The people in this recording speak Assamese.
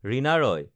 ৰীণা ৰয়